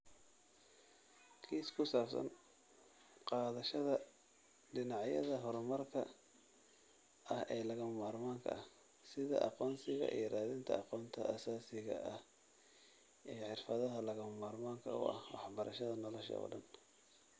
Kiis ku saabsan qaadashada dhinacyada horumarka ah ee lagama maarmaanka ah, sida aqoonsiga iyo raadinta aqoonta asaasiga ah iyo xirfadaha lagama maarmaanka u ah waxbarashada nolosha oo dhan.